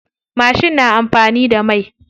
Mashin na amfani da mai.